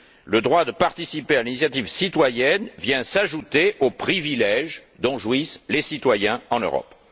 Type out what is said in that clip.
Le droit de participer à l'initiative citoyenne vient s'ajouter aux privilèges dont jouissent les citoyens en Europe.